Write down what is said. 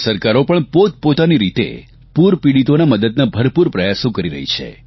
રાજ્ય સરકારો પણ પોતપોતાની પીતે પૂરપીડિતોની મદદના ભરપૂર પ્રયાસો કરી રહી છે